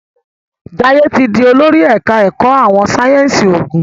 Jaiye tí dì olórí ẹka ẹkọ àwọn sáyẹnsì oògùn.